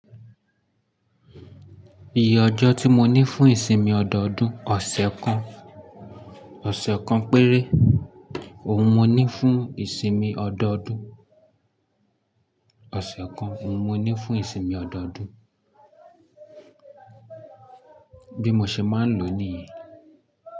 Iye ọjọ́ tí mo ní fún ìsinmi ọdọọdún, ọ̀sẹ̀ kan, ọ̀sẹ̀ kan péré. Ohun mo ní fún ìsinmi ọdọọdún, ọ̀sẹ̀ kan. Ni mo ní fún ìsinmi ọdọọdún, bí mo ṣe máa ń lò nìyẹn.